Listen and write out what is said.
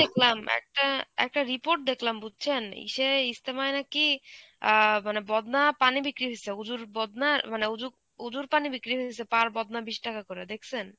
দেখলাম, একটা একটা report দেখলাম বুঝছেন? ইসে ইস্তেমায় নাকি অ্যাঁ মানে বদনা পানি বিক্রি হইসে উজুর বদনা মানে উজুর, উজুর পানি বিক্রি হইসে per বদনা বিশ টাকা করে, দেখছেন?